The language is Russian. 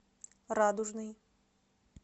радужный